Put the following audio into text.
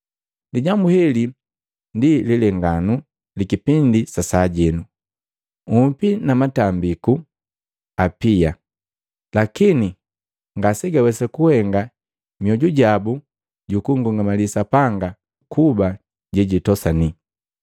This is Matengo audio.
Lijambu heli ndi lilenganu li kipindi sa sajeno, nhupi na matambiku apia lakini ngasegawesa kugahenga mioju jabu jukungungamali Sapanga kuba je jitosani.